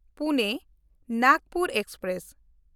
ᱯᱩᱱᱮ–ᱱᱟᱜᱽᱯᱩᱨ express